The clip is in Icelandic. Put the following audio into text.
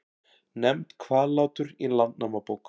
Nefnt Hvallátur í Landnámabók.